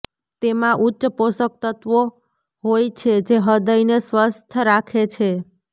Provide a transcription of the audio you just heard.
તેમાં ઉચ્ચ પોષક તત્વો હોય છે જે હૃદયને સ્વસ્થ રાખે છે